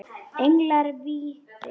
Englar vítis